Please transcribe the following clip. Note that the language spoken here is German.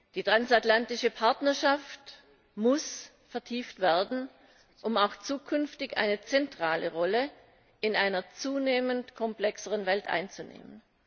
Die transatlantische Partnerschaft muss vertieft werden, um auch zukünftig eine zentrale Rolle in einer zunehmend komplexeren Welt einzunehmen.